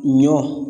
Ɲɔ